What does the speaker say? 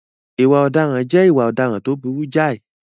Ìwà ọ̀daràn jẹ́ ìwà ọ̀daràn tó burú jáì.